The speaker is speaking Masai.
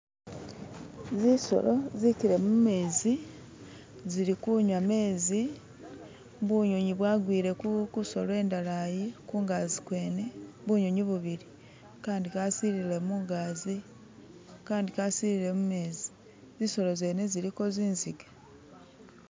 Zinsolo zikile mumenzi zili kunywa gamenzi, bunyunyi bwagwire kunsolo indala yi kungaji kwene, bunyunyi bubili, kandi kasilire mungajji kandi kasilire mumenzi, nzinsolo ziliko zinziga